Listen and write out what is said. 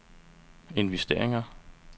investeringer